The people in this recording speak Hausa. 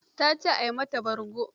Ta ce a yi mata bargo.